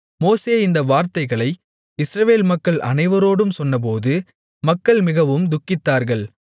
மோசே இந்த வார்த்தைகளை இஸ்ரவேல் மக்கள் அனைவரோடும் சொன்னபோது மக்கள் மிகவும் துக்கித்தார்கள்